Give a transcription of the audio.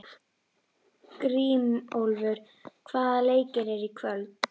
Grímólfur, hvaða leikir eru í kvöld?